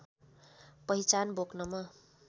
पहिचान बोक्नमा